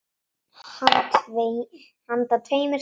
Handa tveimur til þremur